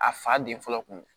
A fa den fɔlɔ kun